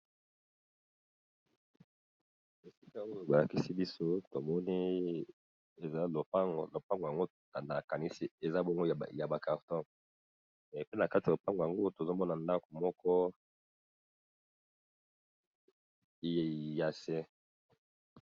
Esika oyo balakisi biso tomoni eza lopango, lopango nakanisi eza ya ba carton puis na lopango tozokomona ndako moko yase.